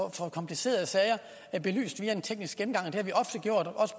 at få komplicerede sager belyst via en teknisk gennemgang